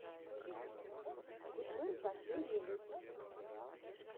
гудмэн последний выпуск